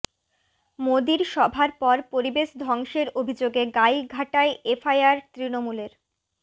মোদীর সভার পর পরিবেশ ধ্বংসের অভিযোগে গাইঘাটায় এফআইআর তৃণমূলের